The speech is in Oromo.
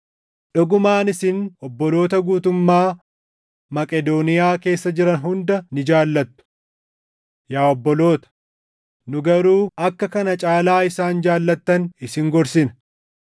Dhugumaan isin obboloota guutummaa Maqedooniyaa keessa jiran hunda ni jaallattu. Yaa obboloota, nu garuu akka kana caalaa isaan jaallattan isin gorsina;